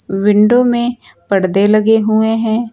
Window में परदे लगे हुए हैं।